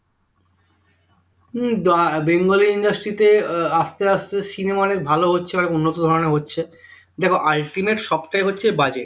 হম bengali industry তে আহ আস্তে আস্তে cinema অনেক ভালো হচ্ছে অনেক উন্নত ধরনের হচ্ছে দেখো ultimate সবটাই হচ্ছে budget